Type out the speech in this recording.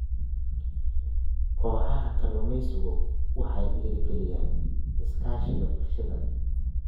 Kooxaha kalluumaysigu waxay dhiirigeliyaan iskaashiga bulshada.